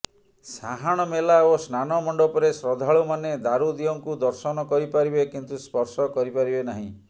ସାହାଣ ମେଲା ଓ ସ୍ନାନ ମଣ୍ଡପରେ ଶ୍ରଦ୍ଧାଳୁମାନେ ଦାରୁଦିଅଁଙ୍କୁ ଦର୍ଶନ କରିପାରିବେ କିନ୍ତୁ ସ୍ପର୍ଶ କରିପାରିବେ ନାହିଁ